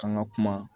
K'an ka kuma